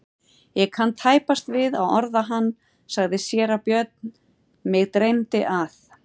Ég kann tæpast við að orða hann, sagði síra Björn,-mig dreymdi að.